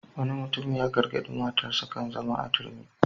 Wani mutum ya gargaɗi matarsa kan zama a turmi.